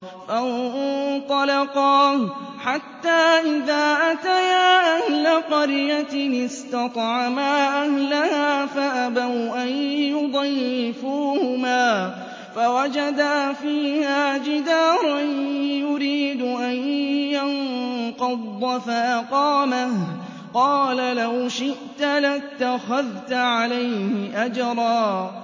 فَانطَلَقَا حَتَّىٰ إِذَا أَتَيَا أَهْلَ قَرْيَةٍ اسْتَطْعَمَا أَهْلَهَا فَأَبَوْا أَن يُضَيِّفُوهُمَا فَوَجَدَا فِيهَا جِدَارًا يُرِيدُ أَن يَنقَضَّ فَأَقَامَهُ ۖ قَالَ لَوْ شِئْتَ لَاتَّخَذْتَ عَلَيْهِ أَجْرًا